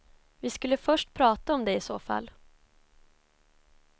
Vi skulle först prata om det i så fall.